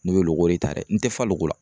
N'o ye loko de ta dɛ, n tɛ fa loko la.